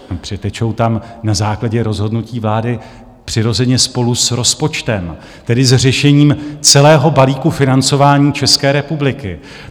Přitečou tam na základě rozhodnutí vlády přirozeně spolu s rozpočtem, tedy s řešením celého balíku financování České republiky.